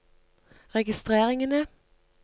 registreringene